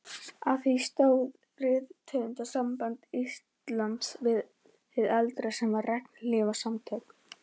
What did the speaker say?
Að því stóð Rithöfundasamband Íslands hið eldra, sem var regnhlífarsamtök